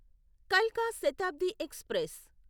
కల్కా Shatabdi express